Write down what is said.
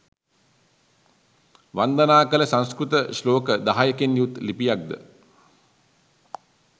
වන්දනා කළ සංස්කෘත ශ්ලෝක දහයකින් යුත් ලිපියක් ද